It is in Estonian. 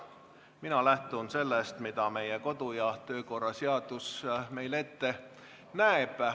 Mina lähtun sellest, mida meie kodu- ja töökorra seadus ette näeb.